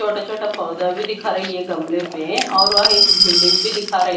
छोटा छोटा पौधा भी दिखा रही है गमले पे और वह एक बिल्डिंग भी दिखा र--